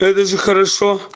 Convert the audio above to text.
то это же хорошо